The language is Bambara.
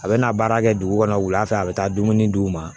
A bɛ na baara kɛ dugu kɔnɔ wula fɛ a bɛ taa dumuni d'u ma